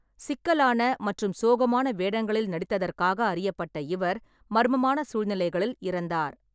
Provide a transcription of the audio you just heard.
சிக்கலான மற்றும் சோகமான வேடங்களில் நடித்ததற்காக அறியப்பட்ட இவர் மர்மமான சூழ்நிலைகளில் இறந்தார்.